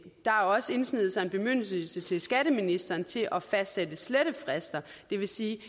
har også indsneget sig en bemyndigelse til skatteministeren til at fastsætte slettefrister det vil sige